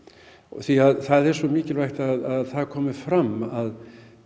því það er svo mikilvægt að það komi fram að